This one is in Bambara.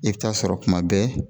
I bɛ taa sɔrɔ kuma bɛɛ